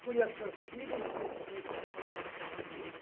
Fui assassino e suicida.